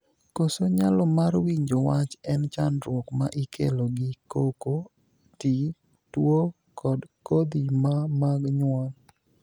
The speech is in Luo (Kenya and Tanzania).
Koso nyalo mar winjo wach en chandruok ma ikelo gi koko, tii, tuo, kod kodhi maa mag jonyuol.